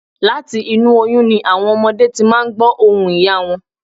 Láti inú oyún ni àwọn ọmọdé ti máa n gbọ̀ ohùn ìyá wọn